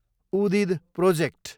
उदीद project